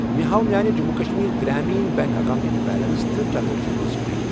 مےٚ ہاو میانہِ جٔموں کشمیٖر گرٛامیٖن بیٚنٛک اکیٚونٹٕچ بیلنس تہٕ ٹرانزیکشن ہسٹری۔